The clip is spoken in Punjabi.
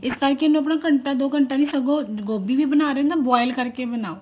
ਇਸ ਕਰਕੇ ਇਹਨੂੰ ਘੰਟਾ ਦੋ ਘੰਟਾ ਨੀ ਸਗੋਂ ਗੋਭੀ ਵੀ ਬਣਾ ਰਹੇ ਹੋਣ ਉਹਨੂੰ ਵੀ boil ਕਰਕੇ ਬਣਾਓ